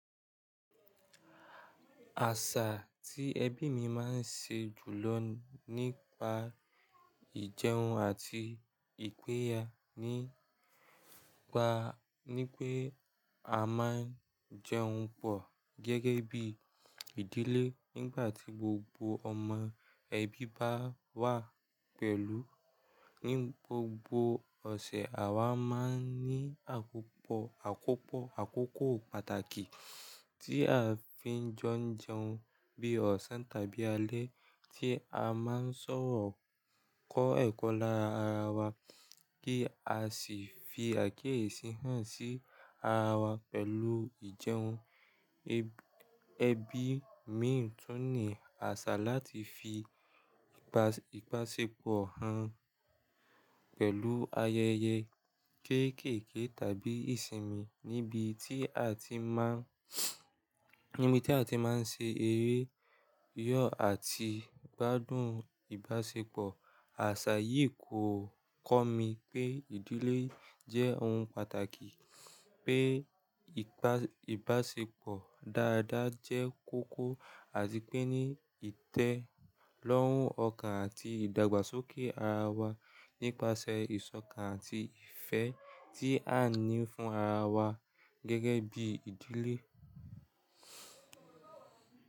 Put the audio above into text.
Àṣà tí ẹbí mi máa ń ṣe jùlọ nípa ìjẹun àti ìpéjo nípa, ní pé a máa ń jẹun pọ̀ gẹ́gẹ́ bí ìdílé nígbà tí gbogbo ọmọ ẹbí bá wà pẹ̀lú. Ní gbogbo ọ̀sẹ̀, àwa máa ń ní àkópọ̀, àkópọ̀, àkókò pàtàkì tí a fi ń jọ jẹun bí ọ̀sán tàbí alẹ́ tí a máa ń ṣọ̀rọ̀ kò ẹkọ lára ará wa kí a sì fi àkíyèsí hàn sí ará wá pẹ̀lú ijẹun. Ẹbí mi tún ní àṣà láti fi ìbáṣepọ̀ hàn pẹ̀lú ayẹyẹ kéékèèké tàbí ìsinmi. Níbi tí a ti máa ń, níbi tí a ti máa ń ṣe eré yọ̀ àti gbádùn ìbáṣepọ̀. Àṣà yìí kò kọ́ mi pé ìdílé jẹ́ ohun pàtàkì, pé ìbá, ìbáṣepọ̀ dáadáa jẹ́ kókó àti pé ní ìtẹ́lọ́rùn ọkàn àti ìdàgbàsókè ara wa nípasẹ̀ ìṣọ̀kan àti ìfẹ́ tí a ní fún ara wa gẹ́gẹ́ bí ìdílé.